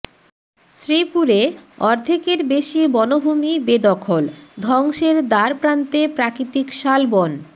শ্রীপুরে অর্ধেকের বেশি বনভূমি বেদখল ধ্বংসের দ্বারপ্রান্তে প্রাকৃতিক শালবন